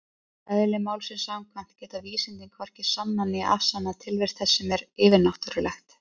Eðli málsins samkvæmt geta vísindin hvorki sannað né afsannað tilvist þess sem er yfirnáttúrulegt.